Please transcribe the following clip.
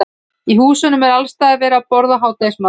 Í húsunum er alls staðar verið að borða hádegismat.